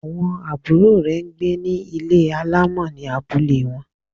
Àwọn àbúrò rẹ̀ n gbé ní Ilé alámọ̀ ní abúlé wọn